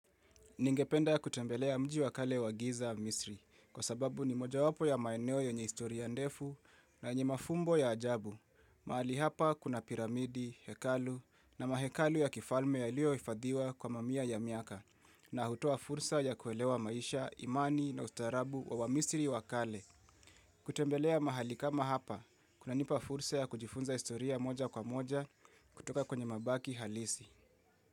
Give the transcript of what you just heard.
Ningependa kutembelea mji wakale wa giza misri, kwa sababu ni moja wapo ya maeneo yenye historia ndefu na yenye mafumbo ya ajabu. Mahali hapa kuna piramidi, hekalu na mahekalu ya kifalme yalliohifadhiwa kwa mamia ya miaka, na hutoa fursa ya kuelewa maisha, imani na ustarabu wa misri wakale. Kutembelea mahali kama hapa, kuna nipa fursa ya kujifunza historia moja kwa moja kutoka kwenye mabaki halisi.